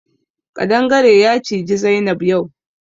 Ƙadangare ya ciji Zainab yau.